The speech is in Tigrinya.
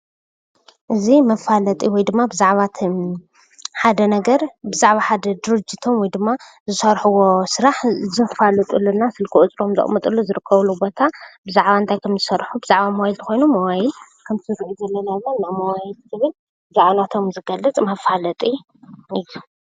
እዚ መፋለጢ ወይ ድማ ብዛዕባ እቲ ሓደ ነገር ብዛዕባ ሓደ ድርጅት ወይ ድማ ዝሰርሐዎ ስራሕ ዘፋልጥሉ እና ስልኪ ቁፅሮም ዘቐምጥሉን ዝርከበሉ ቦታ ብዛዕባ እንታይ ከምዝሰርሑን፣ ብዛዕባ ሞባይል እንተኾይኖም ሞባይል ከምቲ እንሪኦ ዘለና እንዳ ሞባይል ዝብል ብዛዕባ ናቶም ዝገልፅ መፋለጢ እዩ።